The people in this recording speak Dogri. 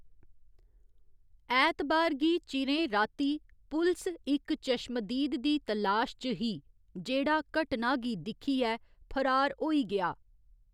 ऐतबार गी चिरें राती पुलस इक चश्मदीद दी तलाश च ही, जेह्‌‌ड़ा घटना गी दिक्खियै फरार होई गेआ।